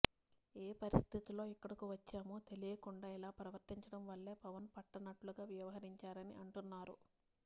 ఏ పరిస్థితుల్లో ఇక్కడకు వచ్చామో తెలియకుండా ఇలా ప్రవర్తించడం వల్లే పవన్ పట్టనట్లుగా వ్యవహరించారని అంటున్నారు